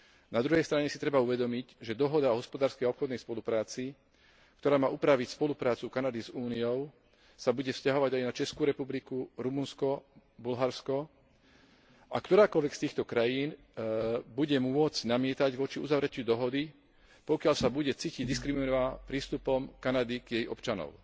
Na druhej strane si treba uvedomiť, že dohoda o hospodárskej a obchodnej spolupráci, ktorá má upraviť spoluprácu Kanady s Úniou, sa bude vzťahovať aj na Českú republiku, Rumunsko, Bulharsko a ktorákoľvek z týchto krajín bude môcť namietať proti uzavretiu dohody, pokiaľ sa bude cítiť diskriminovaná prístupom Kanady k jej občanom.